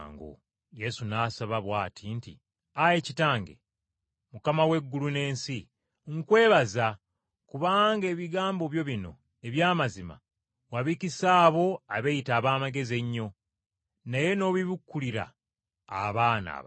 Yesu n’asaba bw’ati nti, “Ayi Kitange, Mukama w’eggulu n’ensi, nkwebaza kubanga ebigambo byo bino eby’amazima wabikisa abo abeeyita ab’amagezi ennyo, naye n’obibikkulira abaana abato.